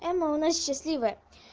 эмма у нас счастливая